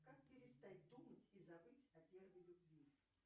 как перестать думать и забыть о первой любви